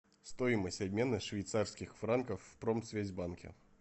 стоимость обмена швейцарских франков в промсвязьбанке